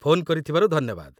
Phone କରିଥିବାରୁ ଧନ୍ୟବାଦ ।